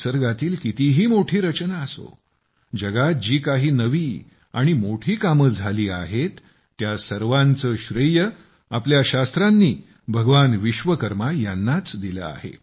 निसर्गातील कितीही मोठी रचना असो जगात जी काही नवी आणि मोठी कामे झाली आहेत त्या सर्वांचे श्रेय आपल्या शास्त्रांनी भगवान विश्वकर्मा यांनाच दिले आहे